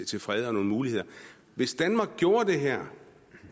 til fred og nogle muligheder hvis danmark gjorde det her